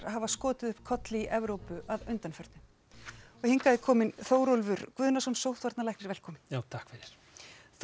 hafa skotið upp kolli í Evrópu að undanförnu hingað er kominn Þórólfur Guðnason sóttvarnalæknir velkominn já takk fyrir þú